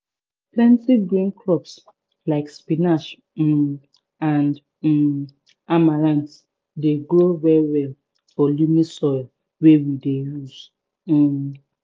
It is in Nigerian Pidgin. plenti green crops like spinach um and um amaranth dey grow well well for loamy soil wey we dey use um